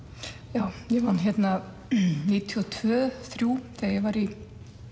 já ég vann hérna níutíu og tvö níutíu þrjú þegar ég var í